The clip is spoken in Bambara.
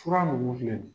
Fura nunnu filɛ nin ye